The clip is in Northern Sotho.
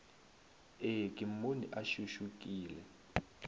ee ke mmone a šušukile